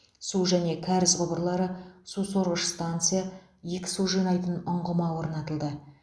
су және кәріз құбырлары су сорғыш станция екі су жинайтын ұңғыма орнатылды